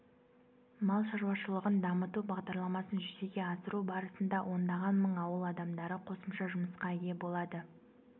мал шаруашылығын дамыту бағдарламасын жүзеге асыру барысында ондаған мың ауыл адамдары қосымша жұмысқа ие болады